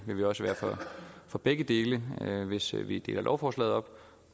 vil også være for begge dele hvis vi deler lovforslaget op